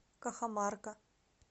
кахамарка